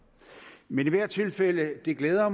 men i hvert tilfælde glæder